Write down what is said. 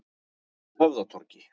Höfðatorgi